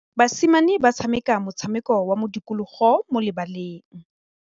Basimane ba tshameka motshameko wa modikologô mo lebaleng.